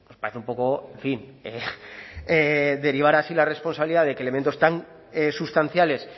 parece un poco en fin derivar así la responsabilidad de que elementos tan sustanciales